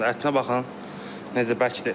Ətinə baxın necə bəkdir.